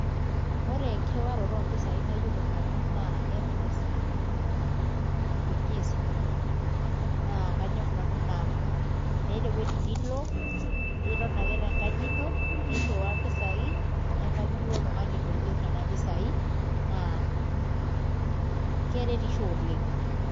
Ore enkirriwaroto ompisaai nayiolo nanu naa Mpesa intumia esimu ino naa kanyorr nanu ina amu meeta ewueji nilo aiton ake tenkaji ino nirriwaa mpisaai nebaiki duoo oltung'ani loyieu nena pisaai naa keretisho oleng'.